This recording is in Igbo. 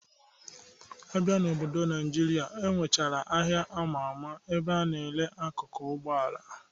Abịa n'obodo Naịjirịa, enwechara aha ama ama ebe a na-ere akụkụ Ụgbọala